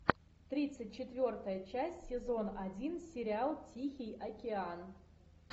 тридцать четвертая часть сезон один сериал тихий океан